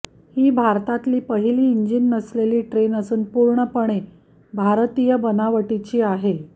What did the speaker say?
ही भारतातील पहिली इंजिन नसलेली ट्रेन असून पूर्णपणे भारतीय बनावटीची आहे